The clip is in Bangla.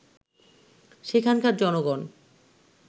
সেখানকার জনগণ